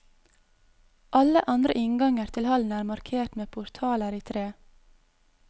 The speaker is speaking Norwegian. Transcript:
Alle andre innganger til hallen er markert med portaler i tre.